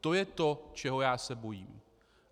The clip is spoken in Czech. To je to, čeho já se bojím.